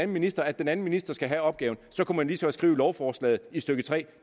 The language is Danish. minister at den anden minister skal have opgaven så kunne man lige så godt skrive i lovforslaget i stykke 3 det